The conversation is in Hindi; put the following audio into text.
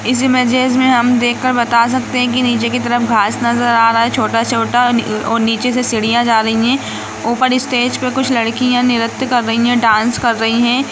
इस इमेजेस मे हम देख कर बता सकते है की नीचे की तरफ घास नजर आ रहा है छोटा-छोटा ओ नीचे से सीढ़ियाँ जा रही है ऊपर स्टेज पे कुछ लड़कियाँ नृत्य कर रही है डांस कर रही है।